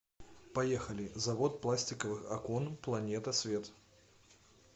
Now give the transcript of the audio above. поехали завод пластиковых окон планета свет